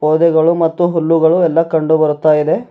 ಪೊದೆಗಳು ಮತ್ತು ಹುಲ್ಲುಗಳು ಎಲ್ಲಾ ಕಂಡುಬರುತ್ತಿವೆ.